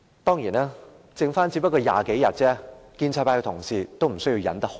當然，他的任期只餘下20多天，建制派同事也無須忍耐太久。